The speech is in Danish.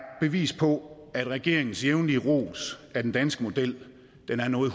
bevis på at regeringens jævnlige ros af den danske model er noget